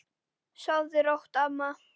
Sofðu rótt, amma.